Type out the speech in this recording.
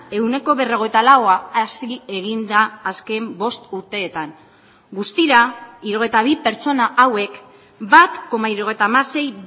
ehuneko berrogeita laua hazi egin da azken bost urteetan guztira hirurogeita bi pertsona hauek bat koma hirurogeita hamasei